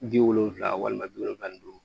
Ji wolonfila walima bi wolonwula ni duuru